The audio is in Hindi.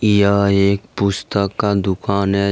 यह एक पुस्तक का दुकान है।